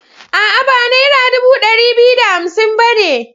A'a, ba nera dubu ɗari biyu da hamsin ba ne.